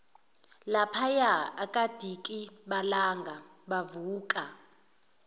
laphaya akadikibalanga wavuka